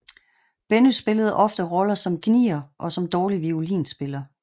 Benny spillede ofte roller som gnier og som dårlig violinspiller